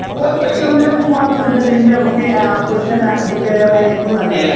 ഒരുലക്ഷം വരെയൊക്കെ പോകാം എന്നുണ്ടെങ്കിൽ നമുക്ക് ആപ്പിളിന്റെ മാക്ബുക് എയർ ആയിരിക്കും നല്ലത്.